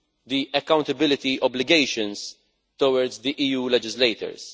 the accountability obligations towards the EU legislators.